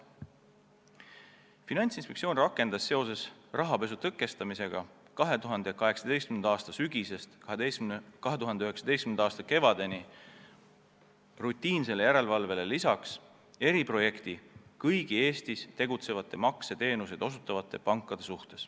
Finantsinspektsioon rakendas seoses rahapesu tõkestamisega 2018. aasta sügisest 2019. aasta kevadeni rutiinsele järelevalvele lisaks eriprojekti, kontrollimaks kõiki Eestis tegutsevaid makseteenuseid osutavaid pankasid.